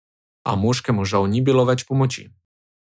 A moškemu žal ni bilo več pomoči.